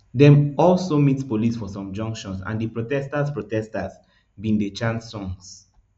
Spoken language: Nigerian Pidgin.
dem also meet police for some junctions and di protesters protesters begin dey chant songs